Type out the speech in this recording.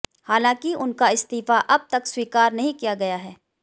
हालांकि उनका इस्तीफा अब तक स्वीकार नहीं किया गया है